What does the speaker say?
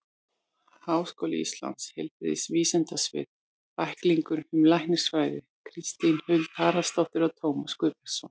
Háskóli Íslands: Heilbrigðisvísindasvið- Bæklingur um læknisfræði Kristín Huld Haraldsdóttir og Tómas Guðbjartsson.